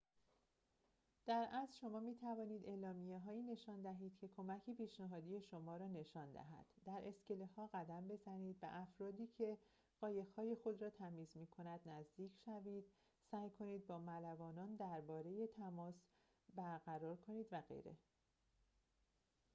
در اصل شما می‌توانید اعلامیه‌هایی نشان دهید که کمک پیشنهادی شما را نشان دهد در اسکله‌ها قدم بزنید به افرادی که قایق‌های خود را تمیز می‌کنند نزدیک شوید سعی کنید با ملوانان در بار تماس برقرار کنید و غیره